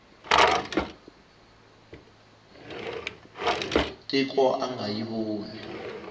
tiko a nga yi voni